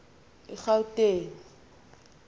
egauteng